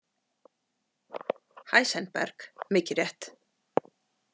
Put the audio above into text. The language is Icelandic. Heisenberg, mikið rétt.